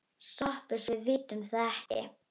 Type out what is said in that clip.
SOPHUS: Við vitum það ekki.